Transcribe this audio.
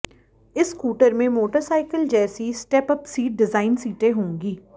इस स्कूटर में मोटरसाइकिल जैसी स्टेप अप सीट डिजाइन सीटें होंगी